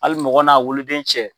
Hali mɔgɔ n'a woloden cɛ.